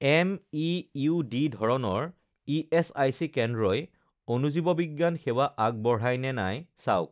MEUD. ধৰণৰ ESIC কেন্দ্ৰই অণুজীৱবিজ্ঞান সেৱা আগবঢ়ায় নে নাই চাওক